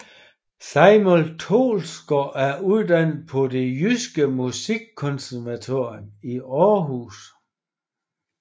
Simon Troelsgaard er uddannet på Det Jyske Musikkonservatorium i Aarhus